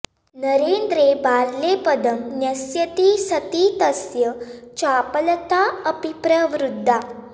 नरेन्द्रे बाल्ये पदं न्यस्यति सति तस्य चापलता अपि प्रवृद्धा